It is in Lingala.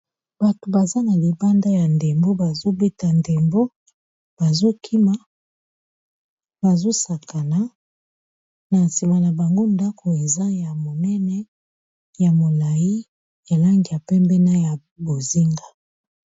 bato baza na libanda ya ndembo bazobeta ndembo bazokima bazosakana na nsima na bango ndako eza ya monene ya molai elangya pembena ya bozinga